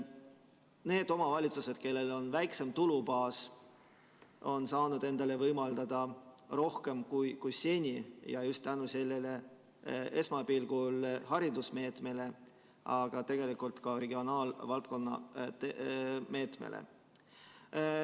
Need omavalitsused, kellel on väiksem tulubaas, on saanud endale võimaldada rohkem kui seni just tänu sellele esmapilgul haridusmeetmele, aga tegelikult ka regionaalvaldkonna meetmele.